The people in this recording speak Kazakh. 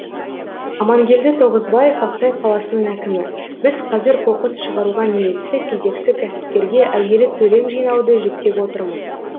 амангелді тоғызбаев ақсай қаласының әкімі біз қазір қоқыс шығаруға ниетті кезекті кәсіпкерге әуелі төлем жинауды жүктеп отырмыз